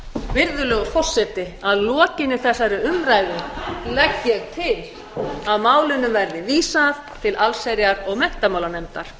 virðulegur forseti að lokinni þessari umræðu legg ég til að málinu verði vísað til allsherjar og menntamálanefndar